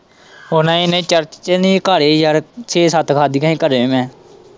ਉਹ ਨਈ-ਨਈ church ਚ ਨੀ ਘਰ ਹੀ ਯਾਰ ਛੇ-ਸੱਤ ਖਾਂਧੀਆਂ ਸੀ ਘਰੇ ਮੈਂ।